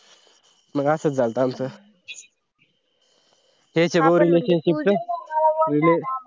मंग असं झालात आमचं